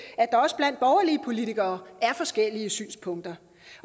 og politikere er forskellige synspunkter